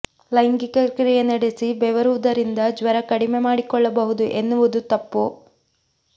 ಲೈಂಗಿಕ ಕ್ರಿಯೆ ನಡೆಸಿ ಬೆವರುವುದರಿಂದ ಜ್ವರ ಕಡಿಮೆ ಮಾಡಿಕೊಳ್ಳಬಹುದು ಎನ್ನುವುದು ತಪ್ಪು